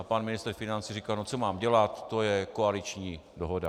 A pan ministr financí říkal: No co mám dělat, to je koaliční dohoda.